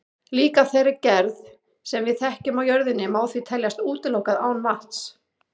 Líf af þeirri gerð sem við þekkjum á jörðinni má því teljast útilokað án vatns.